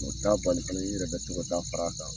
O t' a bali fɛnɛ i yɛrɛ bɛ to ka taa fara a kan.